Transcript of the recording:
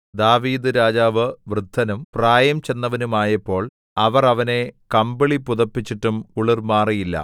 ദാവീദ്‌ രാജാവ് വൃദ്ധനും പ്രായം ചെന്നവനുമായപ്പോള്‍ അവർ അവനെ കമ്പിളി പുതപ്പിച്ചിട്ടും കുളിർ മാറിയില്ല